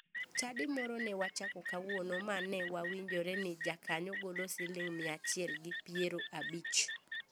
Chadi moro ne wachako kawuono ma ne wawinjore ni jakanyo golo siling mia achiel gi piero abich.